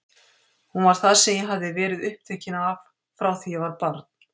Hún var það sem ég hafði verið upptekin af frá því ég var barn.